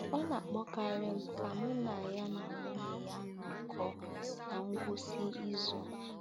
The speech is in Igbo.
Ọ na-akpọkarị m ka mụ na ya na nwunye ya nọkọọ ná ngwụsị izu.